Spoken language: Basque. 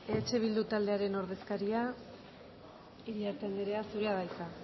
eh bildu taldearen ordezkaria iriarte anderea zurea da hitza